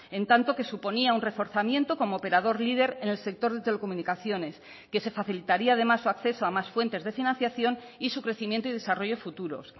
en tanto que suponía un reforzamiento como operador líder en el sector de telecomunicaciones que se facilitaría además su acceso a más fuentes de financiación y su crecimiento y desarrollo futuros